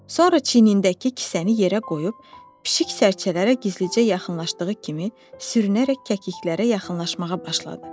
Sonra çiyinindəki kisəni yerə qoyub pişik sərcələrə gizlicə yaxınlaşdığı kimi sürünərək kəkliklərə yaxınlaşmağa başladı.